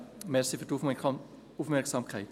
Danke für die Aufmerksamkeit.